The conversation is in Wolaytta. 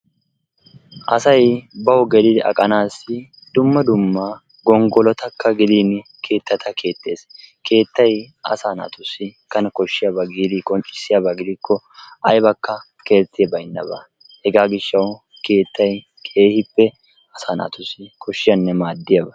Asay bawu geli aqqanaassi dumma dumma gonggolotakka gidin keettata keexxees. Keettay asaa naatussi Kane koshshiyaba giidi qonccssiyaba gidikko aybakka keetti baynnabaa hegaa gishshawu keettay keehippe asaa naatussi koshiyaabanne maadiyaba.